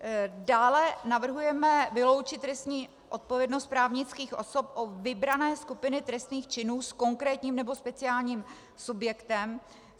Dále navrhujeme vyloučit trestní odpovědnost právnických osob o vybrané skupiny trestných činů s konkrétním nebo speciálním subjektem.